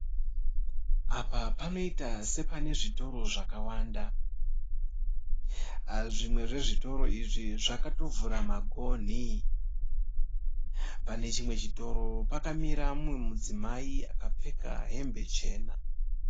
Parwizi rwakazara tsanga pane zambuko rakavakwa nesamende. Parutivi pane mugwagwa uri kufambirwa.